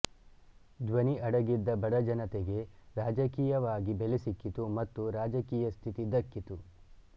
ಧ್ವನಿ ಅಡಗಿದ್ದ ಬಡ ಜನತೆಗೆ ರಾಜಕೀಯವಾಗಿ ಬೆಲೆ ಸಿಕ್ಕಿತು ಮತ್ತು ರಾಜಕೀಯ ಸ್ಥಿತಿ ದಕ್ಕಿತು